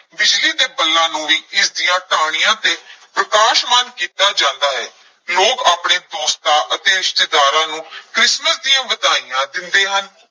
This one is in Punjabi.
ਬਿਜਲੀ ਦੇ ਬੱਲਾਂ ਨੂੰ ਵੀ ਇਸਦੀਆਂ ਟਾਹਣੀਆਂ ਤੇ ਪ੍ਰਕਾਸ਼ਮਾਨ ਕੀਤਾ ਜਾਂਦਾ ਹੈ, ਲੋਕ ਆਪਣੇ ਦੋਸਤਾਂ ਅਤੇ ਰਿਸ਼ਤੇਦਾਰਾਂ ਨੂੰ ਕ੍ਰਿਸਮਸ ਦੀਆਂ ਵਧਾਈਆਂ ਦਿੰਦੇ ਹਨ।